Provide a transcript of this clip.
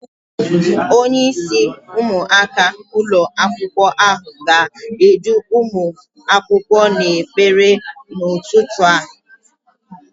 Onyeisi ụmụaka ụlọakwụkwọ ahụ ga-edu ụmụ akwụkwọ n'ekpere n'ụtụtụ a.